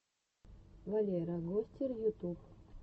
валера гостер ютуб